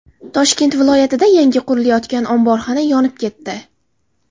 Toshkent viloyatida yangi qurilayotgan omborxona yonib ketdi.